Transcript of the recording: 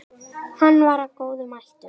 Hann var af góðum ættum.